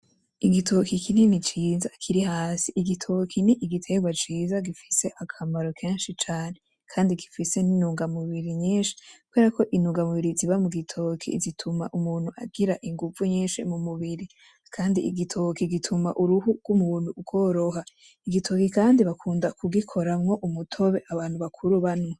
Igitoki kinini ciza kiri hasi igitoki ni igitegwa ciza gifise akamaro kenshi cane kandi gifise n'intunga mubiri nyinshi kubera ko intunga mubiri ziba mugitoki zituma umuntu agira inguvu nyinshi mumubiri kandi igitoki gituma uruhu gw'umuntu rworoha igitoki kandi bakunda kugikoramwo umutobe abantu bakuru banwa